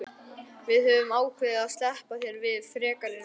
Við höfum ákveðið að SLEPPA ÞÉR VIÐ FREKARI REFSINGU.